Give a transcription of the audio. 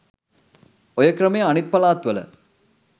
ඔය ක්‍රමය අනිත් පළාත්වල